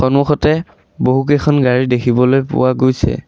সন্মুখতে বহুত কেইখন গাড়ী দেখিবলৈ পোৱা গৈছে।